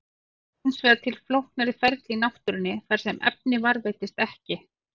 Það eru hins vegar til flóknari ferli í náttúrunni þar sem efnið varðveitist ekki.